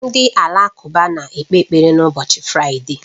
Ndị Alakụba na-ekpe ekpere n'ụbọchị Fraịde